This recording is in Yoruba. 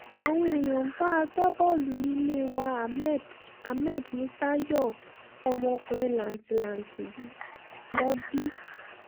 àwọn èèyàn bá agbábọ́ọ̀lù ilé wa ahmed ahmed musa yọ̀ fún ọmọkùnrin làǹtìlanti lọ bí